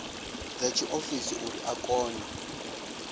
dza tshiofisi uri a kone